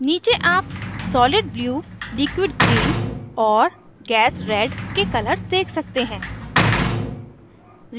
नीचे आप solidblue liquidgreen और gasred के colors देख सकते हैं